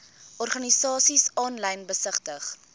organisasies aanlyn besigtig